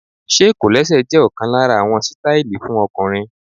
Ṣé kọ̀lẹ́sẹ̀ jẹ́ ọ̀kan lára àwọn sítáílì fún ọkùnrin?